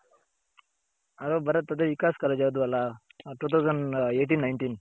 Hello Bharath ಅದೆ Vikas college ಅಲ್ಲಿ ಓದ್ವಲ್ಲ two thousand eighteen nineteen